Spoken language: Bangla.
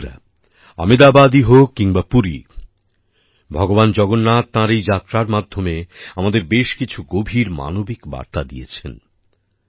বন্ধুরা আহমেদাবাদ হোক কিংবা পুরী ভগবান জগন্নাথ তাঁর এই যাত্রার মাধ্যমে আমাদের বেশ কিছু গভীর মানবিক বার্তা দিয়েছেন